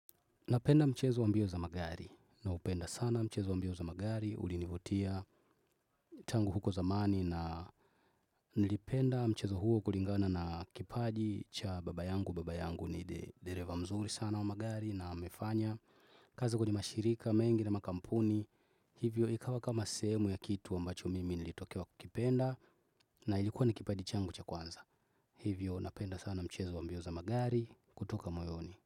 Napenda mchezo wa mbio za magari naupenda sana mchezo wa mbio za magari, ulinivutia tangu huko zamani na nilipenda mchezo huo kulingana na kipaji cha baba yangu, baba yangu ni the dereve mzuri sana wa magari, naamefanya, kazi kwenye mashirika, mengi na makampuni, hivyo ikawa kama sehemu ya kitu ambacho mimi nilitokewa kukipenda, na ilikuwa ni kipaji changu cha kwanza. Hivyo, napenda sana mchezo wa mbio za magari, kutoka moyoni.